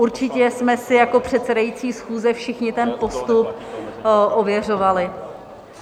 Určitě jsme si jako předsedající schůze všichni ten postup ověřovali.